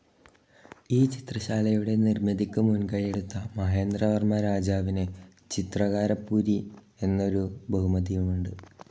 ഈ ചിത്രശാലയുടെ നിർമിതിക്കു മുൻകൈയെടുത്ത മഹേന്ദ്രവർമ രാജാവിന് ചിത്രകാരപ്പുലി എന്നൊരു ബഹുമതിയുമുണ്ട്.